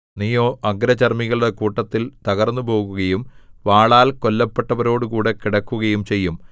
നീയോ അഗ്രചർമ്മികളുടെ കൂട്ടത്തിൽ തകർന്നുപോകുകയും വാളാൽ കൊല്ലപ്പെട്ടവരോടുകൂടെ കിടക്കുകയും ചെയ്യും